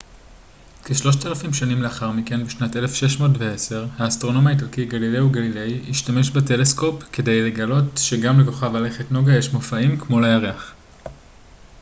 כשלושת אלפים שנים לאחר מכן בשנת 1610 האסטרונום האיטלקי גלילאו גליליי השתמש בטלסקופ כדי לגלות שגם לכוכב הלכת נוגה יש מופעים כמו לירח